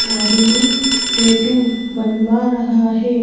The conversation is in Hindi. आदमी टैटू बनवा रहा है।